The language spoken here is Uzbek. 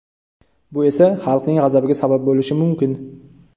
Bu esa – xalqning g‘azabiga sabab bo‘lishi mumkin.